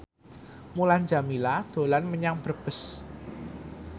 Mulan Jameela dolan menyang Brebes